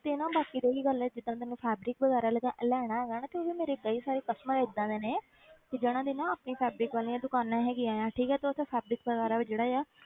ਤੇ ਨਾ ਬਾਕੀ ਰਹੀ ਗੱਲ ਜਿੱਦਾਂ ਤੈਨੂੰ fabric ਵਗ਼ੈਰਾ ਲੈ~ ਲੈਣਾ ਹੈਗਾ ਤੇ ਉਹ ਵੀ ਮੇਰੇ ਕਈ ਸਾਰੇ customer ਏਦਾਂ ਦੇ ਨੇ ਕਿ ਜ਼ਿੰਨਾਂ ਦੀ ਨਾ ਆਪਣੀ fabric ਵਾਲੀਆਂ ਦੁਕਾਨਾਂ ਹੈਗੀਆਂ ਹੈ ਠੀਕ ਹੈ ਤੂੰ ਉੱਥੇ fabric ਵਗ਼ੈਰਾ ਵੀ ਜਿਹੜਾ ਆ